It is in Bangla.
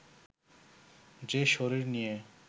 যে শরীর নিয়ে